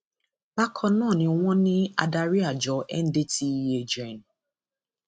bákan náà ni wọn ní adarí àjọ ndtea gen